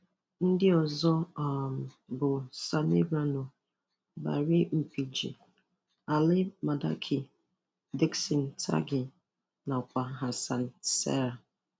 Ndị ọzọ um bụ Sani Rano, Barry Mpigi, Ali Madaki, Dickson Tackighir nakwa Hassan Saleh.